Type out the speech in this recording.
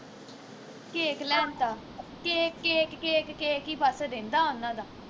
cake ਲੈਣ ਤਾ cake cake cake cake ਬਸ ਈ ਰਹਿੰਦਾ ਉਨ੍ਹਾਂ ਦਾ